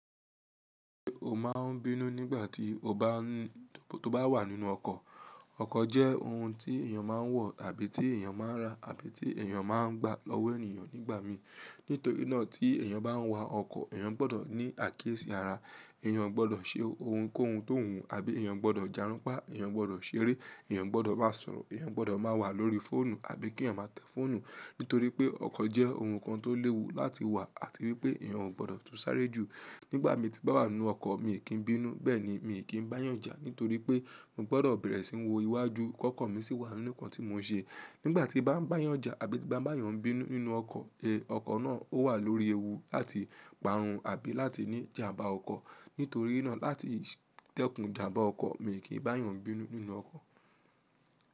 Ó máa ń bínú nígbà tí ó bá ń tó bá wà nínú ọkọ̀. Ọkọ̀ jẹ́ ohun tí èèyàn máa ń wọ̀ àbí tí èèyàn máa ń ra àbí tí èèyàn máa ń gba lọ́wọ́ ènìyàn nígbà mí. Nítorí náà tí èèyàn bá ń wa ọkọ̀, èèyàn gbọ́dọ̀ ní àkíyèsí ara, èèyàn gbọ́dọ̀ ṣe ohunkóhun tó wùú àbí èèyàn gbọ́dọ̀ járunpá, èèyàn gbọ́dọ̀ ṣeré, èèyàn gbọ́dọ̀ máa sọ̀rọ̀, èèyàn gbọ́dọ̀ máa wà lórí fóònù àbí kí èèyàn máa tẹ fóònù. Nítorí pé ọkọ̀ jẹ́ ohun kan tó léwu láti wà àti wípé èèyàn ò gbọ́dọ̀ tú sáré jù. Nígbà tí mo bá wà nínú ọkọ̀ mi kì í bínú, bẹ́ẹ̀ ni mi kì í bá yànjà nítorí pé mo gbọ́dọ̀ bẹ̀rẹ̀ sí ń wo iwájú. Kọ́kọ̀ mi sì wà nínú kan tí mò ń ṣe. Nígbà tí bá ń bá yànjà àbí bá ń bá yàn bínú nínú ọkọ̀, ẹ, ọkọ̀ náà ó wà lórí ewu láti parun àbí láti ní ìjàmbá ọkọ̀. Nítorí náà láti ìdẹ̀kùn ìjàmbá ọkọ̀, mi kì í bá yàn bínú nínú ọkọ̀.